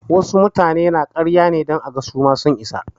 Wasu mutane na yin ƙarya ne don aga su ma sun isa.